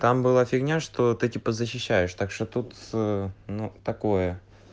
там была фигня что ты типа защищаешь так что тут ну такое